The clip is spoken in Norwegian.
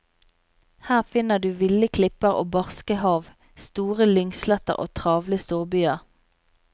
Her finner du ville klipper og barske hav, store lyngsletter og travle storbyer.